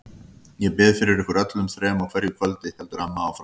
Ég bið fyrir ykkur öllum þrem á hverju kvöldi, heldur amma áfram.